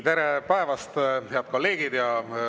Tere päevast, head kolleegid!